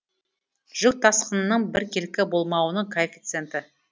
жүк тасқынының біркелкі болмауының коэффициенті